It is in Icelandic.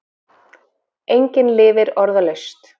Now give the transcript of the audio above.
Engin lifir orðalaust.